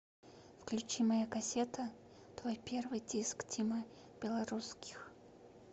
включи моя кассета твой первый диск тима белорусских